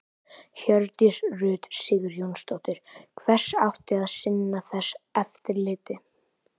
Hjördís Rut Sigurjónsdóttir: Hver átti að sinna þessu eftirliti?